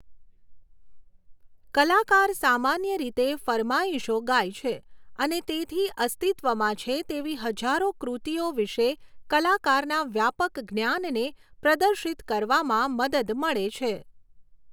કલાકાર સામાન્ય રીતે ફરમાઇશો ગાય છે અને તેથી અસ્તિત્વમાં છે તેવી હજારો કૃતિઓ વિશે કલાકારના વ્યાપક જ્ઞાનને પ્રદર્શિત કરવામાં મદદ મળે છે.